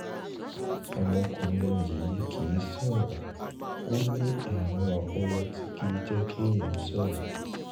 ọmọkùnrin yìí kìí sọ̀rọ̀ ó ní àrùn ọpọlọ tí kìí jẹ́ kéèyàn sọ̀rọ̀